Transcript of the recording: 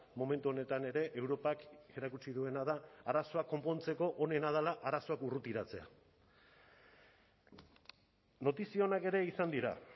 momentu honetan ere europak erakutsi duena da arazoak konpontzeko onena dela arazoak urrutiratzea notizia onak ere izan dira